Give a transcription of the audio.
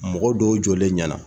Mɔgɔ dɔw jɔlen ɲɛna